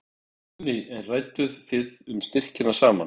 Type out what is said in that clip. Guðný: En rædduð þið um styrkina saman?